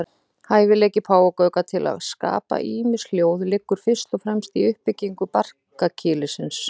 Hæfileiki páfagauka til að skapa ýmis hljóð liggur fyrst og fremst í uppbyggingu barkakýlisins.